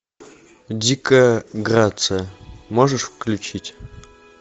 дикая грация можешь включить